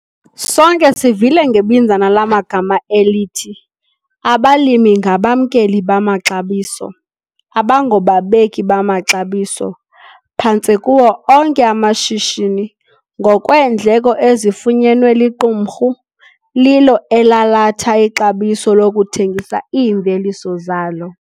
Sonke sivile ngebinzana lamagama elithi "abalimi ngabamkeli bamaxabiso, abangobabeki bamaxabiso". Phantse kuwo onke amashishini, ngokweendleko ezifunyenwe liqumrhu, lilo elalatha ixabiso lokuthengisa iimveliso zalo.